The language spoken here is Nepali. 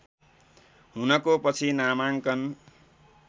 हुनको पछि नामाङ्कन